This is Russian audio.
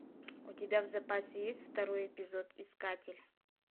у тебя в запасе есть второй эпизод искатель